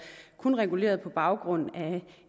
reguleret på baggrund af